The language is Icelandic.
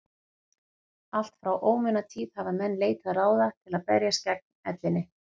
allt frá ómunatíð hafa menn leitað ráða til að berjast gegn ellinni